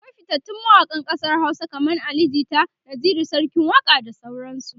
akwai fitattun mawaƙan ƙasar Hausa kaman Ali jita, Naziru sarkin waƙa da sauran su